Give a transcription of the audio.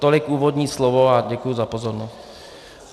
Tolik úvodní slovo a děkuju za pozornost.